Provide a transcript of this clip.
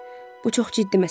Bu çox ciddi məsələdir.